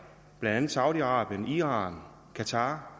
blandt andet saudi arabien iran qatar